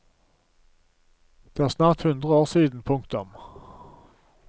Det er snart hundre år siden. punktum